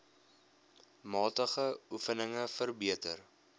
matige oefeninge verbeter